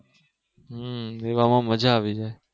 હમ એવામાં મજા આવી જાય